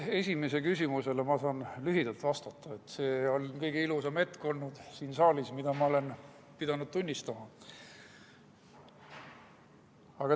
Esimesele küsimusele saan lühidalt vastata, et see oli kõige ilusam hetk siin saalis, mille tunnistajaks ma olen olnud.